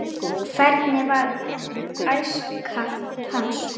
hvernig var æska hans